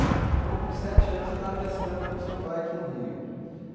Então com sete anos você estava pescando com seu pai aqui no rio, uhum.